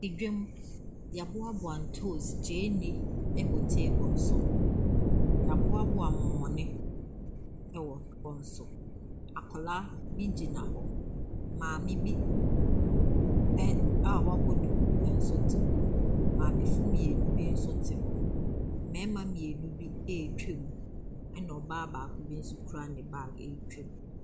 Dwam, wɔaboaboa ntoosi, gyeene wɔ table so. Wɔaboaboa mɔmɔne wɔ hɔ nso. Akwadaa bi gyina hɔ. Maame bi ɛ a wabɔ duku nso te hɔ. Maamefoɔ mmienu bi nso te hɔ. Mmarima mmienu bi retwam, ɛna ɔbaa baako bi nso kura ne bag retwam.